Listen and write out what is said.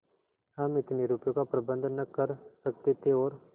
हम इतने रुपयों का प्रबंध न कर सकते थे और